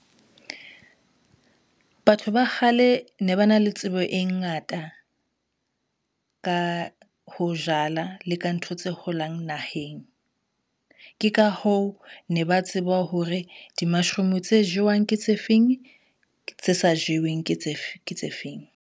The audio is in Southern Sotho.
Batho ba kgale ne ba na le tsebo e ngata, ka ho jala le ka ntho tse holang naheng. Ke ka hoo ne ba tseba hore di-mashroom tse jewang ke tse feng, tse sa jeweng ke tse feng.